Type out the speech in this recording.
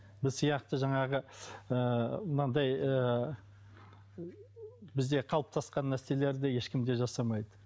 біз сияқты жаңағы ыыы мынандай ыыы бізде қалыптасқан нәрселерді ешкім де жасамайды